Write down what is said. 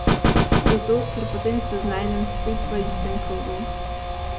Zato, ker potem se znajdem spet v istem krogu.